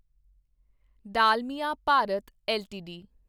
Dalmia Bharat LTD